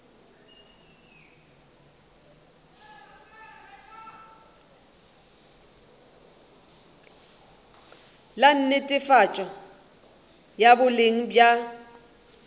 la netefatšo ya boleng bja